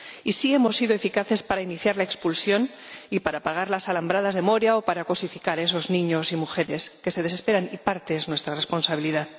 Y sí hemos sido eficaces para iniciar la expulsión y para pagar las alambradas de Moria o para cosificar a esos niños y mujeres que se desesperan, y parte es nuestra responsabilidad.